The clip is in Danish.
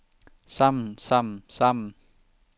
sammen sammen sammen